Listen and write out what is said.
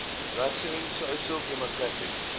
russian social democratic